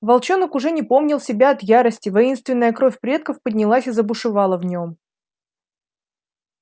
волчонок уже не помнил себя от ярости воинственная кровь предков поднялась и забушевала в нем